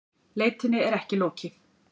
Leitinni er ekki lokið